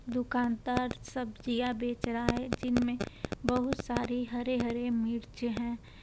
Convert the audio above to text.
दुकानदार सब्जियाँ बेच रहा है जिन मे बहुत सारी हरे-हरे मिर्च हैं।